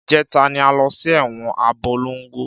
Ìjẹta ni a lọ sí ẹ̀wọn Abólongo.